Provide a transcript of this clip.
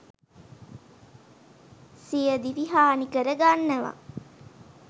සියදිවි හානි කර ගන්නවා.